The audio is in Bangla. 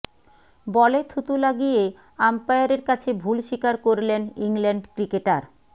বলে থুতু লাগিয়ে আম্পায়ারের কাছে ভুল স্বীকার করলেন ইংল্যান্ড ক্রিকেটার